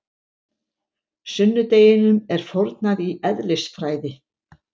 Sunnudeginum er fórnað í eðlisfræði.